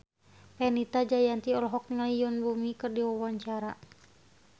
Fenita Jayanti olohok ningali Yoon Bomi keur diwawancara